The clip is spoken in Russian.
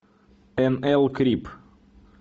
эн эл крип